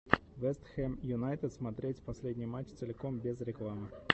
вест хэм юнайтед смотреть последний матч целиком без рекламы